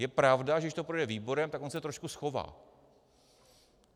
Je pravda, že když to projde výborem, tak on se trošku schová.